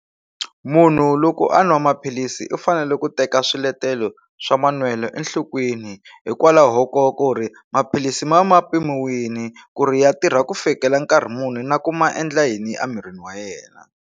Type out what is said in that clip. Munhu loko a nwa maphilisi u fanele ku teka swiletelo swa manwelo enhlokweni hikwalaho ko ku ri maphilisi ma va mapimiwini ku ri ya tirha ku fikela nkarhi munhu na ku ma endla yini a mirini wa yena.